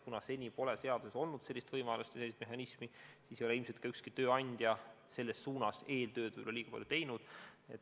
Kuna seni pole seaduses sellist võimalust või sellist mehhanismi olnud, siis ei ole ilmselt ka ükski tööandja selles suunas eeltööd kuigi palju teinud.